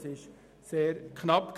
Das Resultat war sehr knapp: